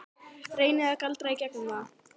Reyni að galdra í gegnum það.